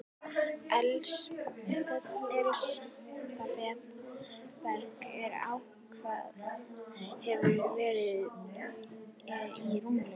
Elsta berg, sem ákvarðað hefur verið, er rúmlega